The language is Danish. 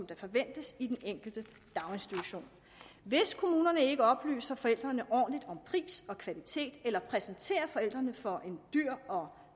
der forventes i den enkelte daginstitution hvis kommunerne ikke oplyser forældrene ordentligt om pris og kvalitet eller præsenterer forældrene for en dyr og